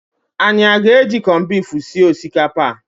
Anyị aga-eji kọnbifu sie osikapa a?